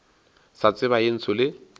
sa tseba ye ntsho le